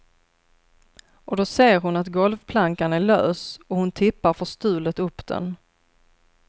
Och då ser hon att golvplankan är lös och hon tippar förstulet upp den.